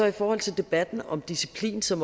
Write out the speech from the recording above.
i forhold til debatten om disciplin som